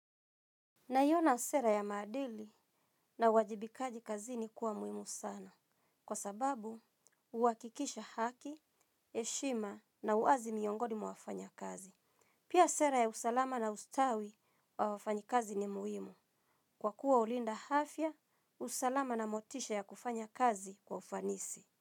Naiona sera ya maadili na uwajibikaji kazini kuwa muhimu sana. Kwa sababu, huhakikisha haki, heshima na uwazi miongoni mwa wafanya kazi. Pia sera ya usalama na ustawi wa wafanyi kazi ni muhimu. Kwa kuwa hulinda afya, usalama na motisha ya kufanya kazi kwa ufanisi.